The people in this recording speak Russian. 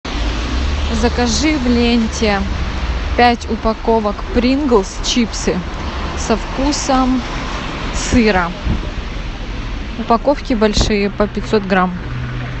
закажи в ленте пять упаковок принглс чипсы со вкусом сыра упаковки большие по пятьсот грамм